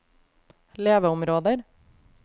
leveområder